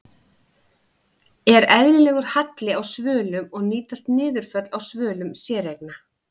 Er eðlilegur halli á svölum og nýtast niðurföll á svölum séreigna?